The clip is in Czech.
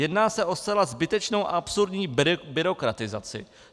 Jedná se o zcela zbytečnou a absurdní byrokratizaci.